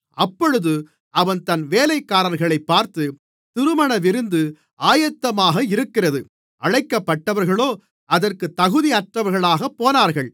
அப்பொழுது அவன் தன் வேலைக்காரர்களைப் பார்த்து திருமணவிருந்து ஆயத்தமாக இருக்கிறது அழைக்கப்பட்டவர்களோ அதற்கு தகுதியற்றவர்களாக போனார்கள்